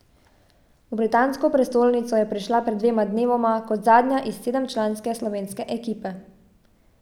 V britansko prestolnico je prišla pred dvema dnevoma kot zadnja iz sedemčlanske slovenske ekipe.